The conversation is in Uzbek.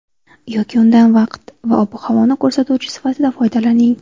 Yoki undan vaqt va ob-havoni ko‘rsatuvchi sifatida foydalaning.